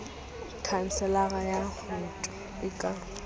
khanselara ya woto e ka